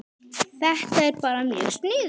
Þetta er bara mjög sniðugt